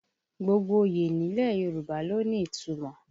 Gbogbo oyè nílẹ̀ Yorùbá ló ní ìtumọ̀